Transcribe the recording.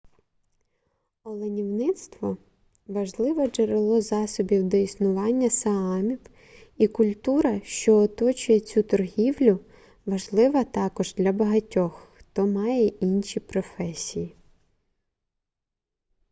оленівництво важливе джерело засобів до існування саамів і культура що оточує цю торгівлю важлива також для багатьох хто має інші професії